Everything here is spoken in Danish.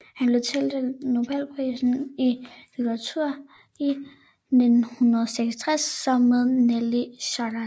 Han blev tildelt nobelprisen i litteratur i 1966 sammen med Nelly Sachs